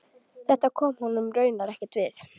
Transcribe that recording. Þetta kom honum raunar ekkert við.